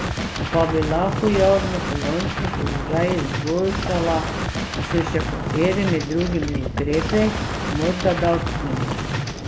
Pa bi lahko javnofinančni položaj izboljšala s še katerimi drugimi ukrepi, morda davčnimi?